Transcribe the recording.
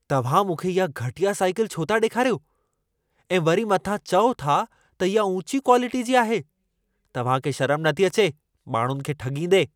तव्हां मूंखे इहा घटिया साइकिल छो था ॾेखारियो? ऐं वरी मथां चओ था त इहा ऊंची क्वालिटीअ जी आहे। तव्हां खे शरम नथी अचे माण्हुनि खे ठॻींदे?